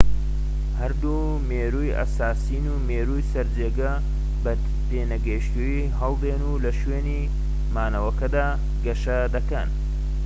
هەردوو مێرووی ئەساسین و مێرووی سەرجێگە بە پێنەگەشتووی هەڵدێن و لە شوێنی مانەوەکەدا گەشە دەکەن